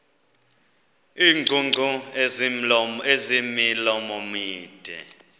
iingcungcu ezimilomo mide